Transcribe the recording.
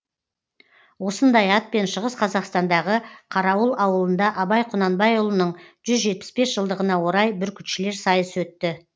осындай атпен шығыс қазақстандағы қарауыл ауылында абай құнанбайұлының жүз жетпіс бес жылдығына орай бүркітшілер сайысы өтті